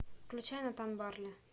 включай натан барли